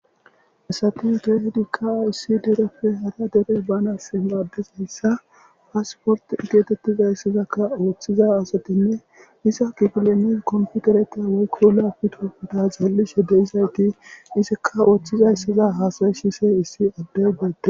asati deehdikkaa issi dereppe hara dere banasimaddizayssa paasport igeetettizayssazakka ooththiza asatinne isa gifilemi komfudereta woykko laafi tokuda zallishe deyizayti isikka ooththizayssaza haasay shise issi addeygeete